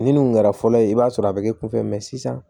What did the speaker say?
Ni minnu kun kɛra fɔlɔ ye i b'a sɔrɔ a bɛ kɛ kunfɛ sisan